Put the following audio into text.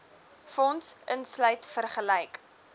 fonds insluit vergelyk